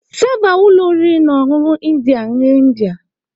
Sava ụlọ oriri na ọṅụṅụ India nri India.